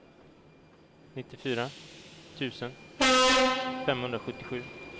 nittiofyra tusen femhundrasjuttiosju